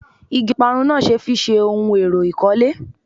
Igi Ọparun náà ṣe fi ṣe ohun èrò ìkọ́lé